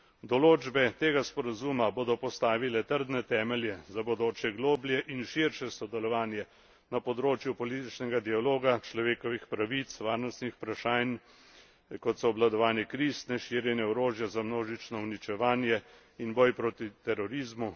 Določbe tega sporazuma bodo postavile trdne temelje za bodoče globlje in širše sodelovanje na področju političnega dialoga, človekovih pravic, varnostnih vprašanj, kot so obvladovanje kriz, neširjenje orožja za množično uničevanje in boj proti terorizmu